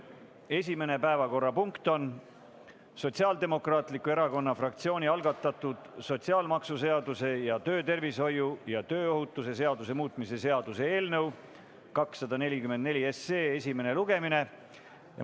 Esimene päevakorrapunkt on Sotsiaaldemokraatliku Erakonna fraktsiooni algatatud sotsiaalmaksuseaduse ja töötervishoiu ja tööohutuse seaduse muutmise seaduse eelnõu 244 esimene lugemine.